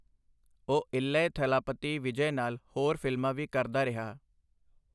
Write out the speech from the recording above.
ਉਹ ਇਲੈਯਾ ਥਲਾਪਤੀ ਵਿਜੈ ਨਾਲ ਹੋਰ ਫ਼ਿਲਮਾਂ ਵੀ ਕਰਦਾ ਰਿਹਾ।